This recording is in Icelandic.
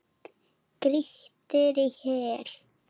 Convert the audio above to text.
Grýttir í hel.